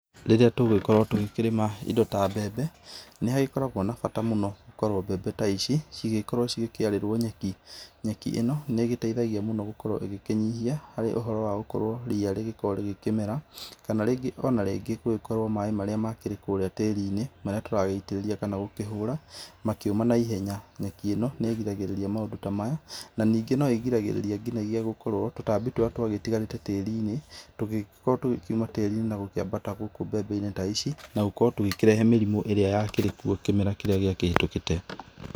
Rĩrĩa tũgũgikorwo tũgĩkĩrĩma indo ta mbembe, nĩhagĩkoragwo na bata mũno gũkorwo mbembe ta ici cigĩgĩkorwo cikĩarĩrwo nyeki. Nyeki ĩno nĩgĩteithagia mũno gũkorwo ĩgĩkĩnyihia harĩ ũhoro wa gũkorwo ria rĩgĩkorwo rĩkĩmera kana rĩngĩ ona rĩngĩ gũkorwo maĩ marĩa makĩrĩ kũrĩa tĩrinĩ marĩa tũragĩtĩrĩria kana gũkĩhũra makĩũma na ihenya. Nyeki ĩno nĩ ĩrigagĩrĩria maũndũ ta maya na ningĩ no ĩrigagĩrĩria nginagĩa gũkorwo tũtambi tũrĩa twagĩtigarĩte tĩrinĩ tũgĩkorwo tũgĩkiuma tĩrinĩ na gũkĩambata gũkü mbembe-inĩ ta ici na gũkorwo tũgĩkĩrehe mĩrimũ ĩrĩa yakĩrĩ kuo kĩmera kĩrĩa gĩakĩhetũkĩte.